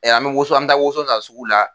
Ɛ an bɛ woso an bɛ taa woso san sugu la.